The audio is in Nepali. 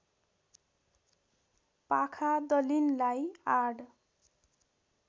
पाखा दलिनलाई आड